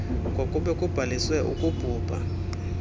kwakube kubhaliswe ukubhubha